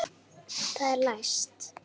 Það er læst!